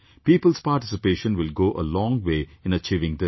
People's participation will go a long way in achieving this